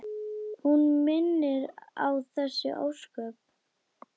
Hún minnir á þessi ósköp.